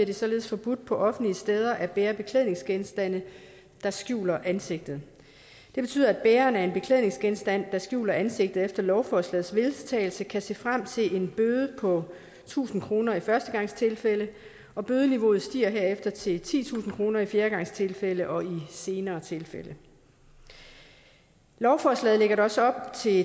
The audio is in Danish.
det således forbudt på offentlige steder at bære beklædningsgenstande der skjuler ansigtet det betyder at bæreren af en beklædningsgenstand der skjuler ansigtet efter lovforslagets vedtagelse kan se frem til en bøde på tusind kroner i førstegangstilfælde og bødeniveauet stiger herefter til titusind kroner i fjerdegangstilfælde og i senere tilfælde lovforslaget lægger også op til